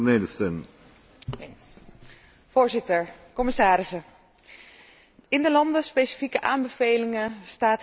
Voorzitter, commissarissen, in de landenspecifieke aanbevelingen staat heel veel waar ik het roerend mee eens ben.